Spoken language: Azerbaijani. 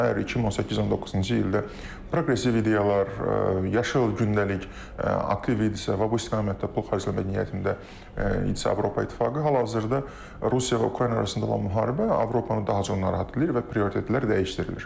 Əgər 2018-19-cu ildə proqressiv ideyalar, yaşıl gündəlik aktiv idisə və bu istiqamətdə pul xərcləmək niyyətində idisə Avropa İttifaqı, hal-hazırda Rusiya və Ukrayna arasında olan müharibə Avropanı daha çox narahat edir və prioritetlər dəyişdirilir.